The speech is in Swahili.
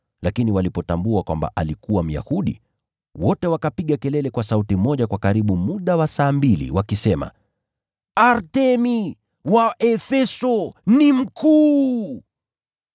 Lakini walipotambua kwamba alikuwa Myahudi, wote wakapiga kelele kwa sauti moja kwa karibu muda wa saa mbili, wakisema, “Artemi wa Efeso ni mkuu!”